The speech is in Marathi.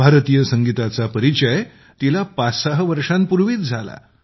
भारतीय संगीताचा परिचय तिला 56 वर्षांपूर्वीच झाला